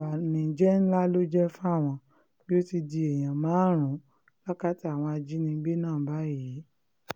ó ní ìbànújẹ́ ńlá ló jẹ́ fáwọn pé ó ti di èèyàn márùn-ún lákàtà àwọn ajínigbé náà báyìí